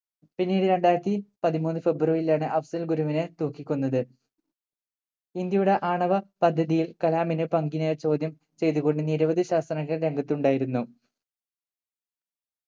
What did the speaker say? പിന്നീട് രണ്ടായിരത്തി പതിമൂന്ന് ഫെബ്രുവരിയിലാണ് അഫ്സൽ ഗുരുവിനെ തൂക്കി കൊന്നത് ഇന്ത്യയുടെ ആണവ പദ്ധതിയിൽ കലാമിനെ പങ്കിനെ ചോദ്യം ചെയ്തു കൊണ്ട് നിരവധി ശാസ്ത്രജ്ഞർ രംഗത്ത് ഉണ്ടായിരുന്നു